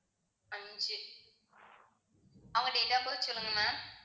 அஞ்சு அவங்க date of birth சொல்லுங்க ma'am